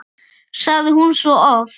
sagði hún svo oft.